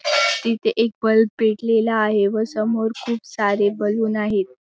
तिथ एक बल्ब पेटलेला आहे व समोर खूप सारे बलून आहेत.